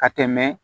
Ka tɛmɛ